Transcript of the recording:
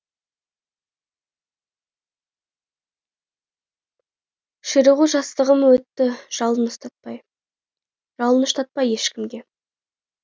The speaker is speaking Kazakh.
ширығужастығым өтті жалын ұстатпай жалыныштатпай ешкімге